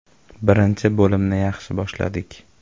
Birinchi bo‘limni yaxshi boshladik.